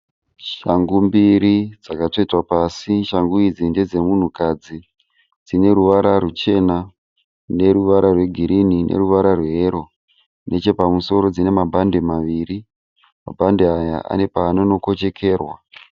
Shangu mbiri dzakatsvetwa pasi. Shangu idzi ndedze munhukadzi. Dzine ruchena neruvara wegirinhi neruvara rweyero. Nechepamusoro dzine mabhande maviri mabhande aya ane paanonokochekerwa.